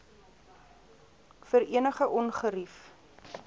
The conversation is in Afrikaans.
vir enige ongerief